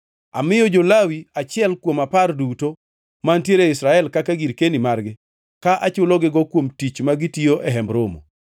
“Amiyo jo-Lawi achiel kuom apar duto mantiere e Israel kaka girkeni margi ka achulogigo kuom tich ma gitiyo e Hemb Romo.